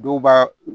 Dɔw b'a